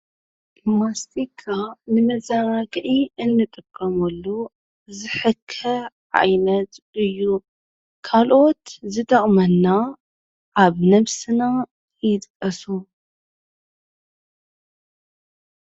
ማስቲካ ንመዘናግዒ እንጥቀመሉ ዝሕከይ ዓይነት እዩ፡፡ ካልኦት ዝጠቅመና አብ ነብስና ይጥቀሱ?